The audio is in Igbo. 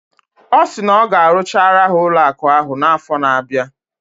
Ọ sị na ọ ga-arụchara ha ụlọụka ahụ n' afọ na-abịa.